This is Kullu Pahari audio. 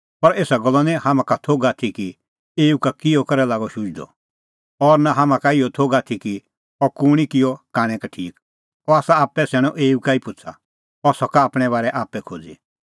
पर एसा गल्लो निं हाम्हां का थोघ आथी कि एऊ का किहअ करै लागअ शुझदअ और नां हाम्हां का इहअ थोघ आथी कि अह कुंणी किअ कांणै का ठीक अह आसा आप्पै सैणअ एऊ ई का पुछ़ा अह सका आपणैं बारै आप्पै खोज़ी